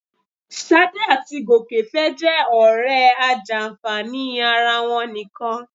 Ṣadé àti Gòkè fẹ́ jẹ́ ọ̀rẹ́ ajàǹfààní ara wọn nìkan